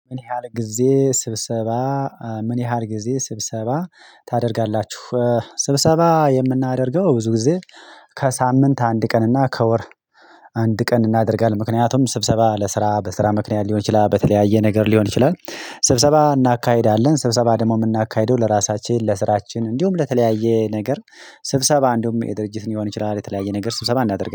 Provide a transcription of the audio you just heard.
ምን ያህል ጊዜ ስብሰባ ምን ያህል ጊዜ ስብሰባ ታደርጋላችሁ? ስብሰባ የምናደርገው ብዙ ጊዜ ከሳምንት አንድ ቀን እና ከወር አንድ ቀን እናደርጋለን ምክንያቱም ስብሰባ ለስራ በስራ ምክንያት ሊሆን ይችላል በተለያየ ነገር ሊሆን ይችላል ስብሰባ እናካሂዳለን ስብሰባ ደሞ የምናካሂደው ለራሳችን ለስራችን እንዲሁም ለተለያየ ነገር ስብሰባ እንደውም የድርጅት ሊሆን ይችላል የተለያየ ነገር ስብሰባ እናደርጋለን።